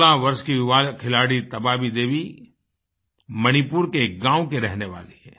16 वर्ष की युवा खिलाड़ी तबाबी देवी मणिपुर के एक गाँव की रहने वाली है